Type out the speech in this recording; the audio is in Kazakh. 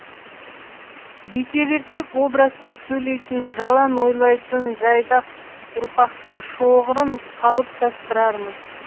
бүйте берсек образсыз сөйлейтін жалаң ойлайтын жайдақ ұрпақтың шоғырын қалыптастырармыз